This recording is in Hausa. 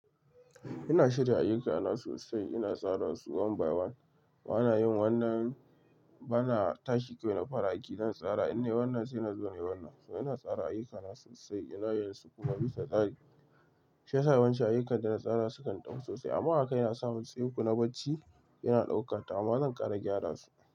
Ina shirya ayyukana sosai, ina tsara su one by one. Bana yin wannan bana tashi kawai na fara aiki zan tsara. In nayi wannan sai in zo nayi wannan. To ina tsara ayyukana sosai, ina yin su kuma bisa tsari. Shiyasa yawancin ayyukan da na tsara su kan ɗau sosai. Amma haka yana sa matseku na bacci yana ɗaukata. Amma zan ƙara gyara su.